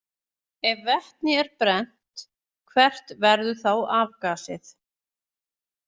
Ef vetni er brennt, hvert verður þá afgasið?